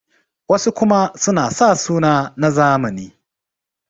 wasu kuma suna sa suna na zamani